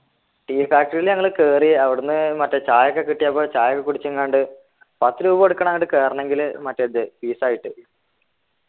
tea factory ൽ നമ്മള് കേറി അവിടെന്നു മറ്റേ ചയൊക്കെ കിട്ടിയപ്പോ ചായ ഒക്കെ കുടിച്ചെങാണ്ട് പത്തു രൂപ കൊടുക്കണം അങ്ങട് കേറണെങ്കിൽ മറ്റേ ഇത് fees ആയിട്ട്